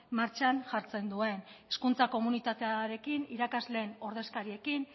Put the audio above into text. martxan jartzen duen hezkuntza komunitatearekin irakasleen ordezkariekin